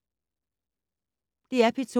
DR P2